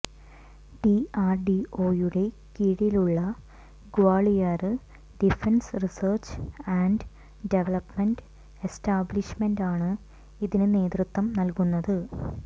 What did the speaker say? ഡിആര്ഡിഒയുടെ കീഴിലുള്ള Gwalior defence research and development എസ്റ്റാബ്ലിഷ്മെന്റാണ് ഇതിന് നേതൃത്വം നല്കുന്നത്